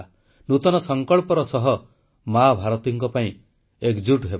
ନୂତନ ସଂକଳ୍ପର ସହ ମା ଭାରତୀଙ୍କ ପାଇଁ ଏକଜୁଟ ହେବା